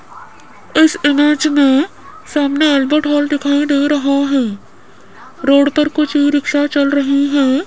इस इमेज में सामने बैंक्वेट हॉल दिखाई दे रहा है रोड पर कुछ रिक्शा चल रहीं है।